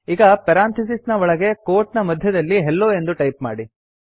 ಈಗ ಪೆರಾಂಥಿಸಿಸ್ ನ ಒಳಗೆ ಕೋಟ್ ನ ಮಧ್ಯದಲ್ಲಿ ಹೆಲ್ಲೊ ಎಂದು ಟೈಪ್ ಮಾಡಿ